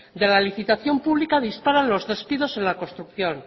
de la licitación pública disparan los despidos en la construcción